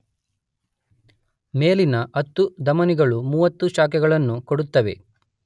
ಮೇಲಿನ 10 ಧಮನಿಗಳು 30 ಶಾಖೆಗಳನ್ನು ಕೊಡುತ್ತವೆ.